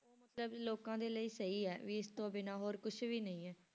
ਉਹ ਮਤਲਬ ਲੋਕਾਂ ਦੇ ਲਈ ਸਹੀ ਹੈ ਵੀ ਇਸ ਤੋਂ ਬਿਨਾਂ ਹੋਰ ਕੁਛ ਵੀ ਨਹੀਂ ਹੈ।